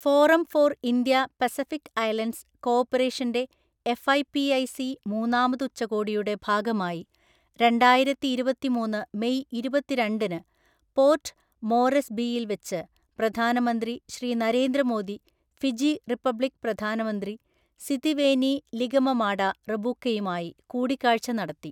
Forum for India Pacific Islands കോ ഓപ്പറേഷന്റെ FIPIC മൂന്നാമത് ഉച്ചകോടിയുടെ ഭാഗമായി രണ്ടായിരത്തിഇരുപത്തിമൂന്ന് മെയ് ഇരുപത്തിരണ്ടിന് പോർട്ട് മോറെസ്ബിയിൽ വെച്ച് പ്രധാനമന്ത്രി ശ്രീ നരേന്ദ്ര മോദി ഫിജി റിപ്പബ്ലിക് പ്രധാനമന്ത്രി സിതിവേനി ലിഗമമാഡ റബുക്കയുമായി കൂടിക്കാഴ്ച നടത്തി.